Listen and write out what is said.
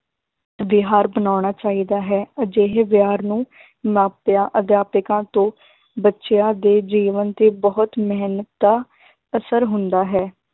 ਵਿਹਾਰ ਅਪਨਾਉਣਾ ਚਾਹੀਦਾ ਹੈ, ਅਜਿਹੇ ਵਿਹਾਰ ਨੂੰ ਮਾਪਿਆਂ ਅਧਿਆਪਕਾਂ ਤੋਂ ਬੱਚਿਆਂ ਦੇ ਜੀਵਨ ਤੇ ਬਹੁਤ ਮਿਹਨਤਾ ਦਾ ਅਸਰ ਹੁੰਦਾ ਹੈ